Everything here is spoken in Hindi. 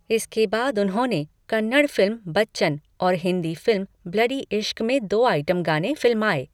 इसके बाद उन्होंने कन्नड़ फिल्म 'बच्चन' और हिंदी फिल्म 'ब्लडी इश्क' में दो आइटम गाने फिल्माए।